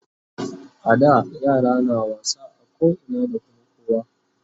A da yara na wasa a koina da Kuma kowa